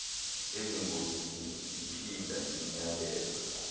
ezingozini ndiphinda ndimyaleza